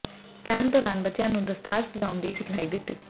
camp ਦੌਰਾਨ ਬੱਚਿਆਂ ਨੂੰ ਦਸਤਾਰ ਸਜਾਉਣ ਦੀ ਸਿਖਲਾਈ ਦਿੱਤੀ